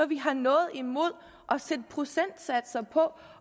vi har noget imod at sætte procentsatser på